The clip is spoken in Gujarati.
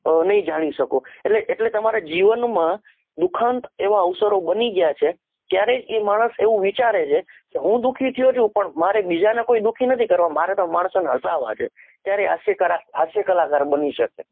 અ નહિ જાની શકો એટલે તમારે જીવન મ દુખન એવા અવસરો બની ગયા છે ત્યારે એ માનશ એવું વિચારે છે હું દુખી થયો છુ પણ મારી બીજા ને દુખી નહી કરવા મારે તો માણસો ને હસાવા છે ત્યારે હાસ્યકાર હાસ્યકલાકાર બની સકે